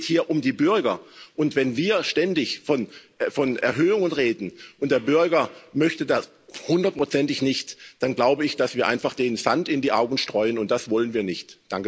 Es geht hier um die Bürger, und wenn wir ständig von Erhöhungen reden und der Bürger möchte das hundertprozentig nicht, dann glaube ich, dass wir denen einfach Sand in die Augen streuen, und das wollen wir nicht.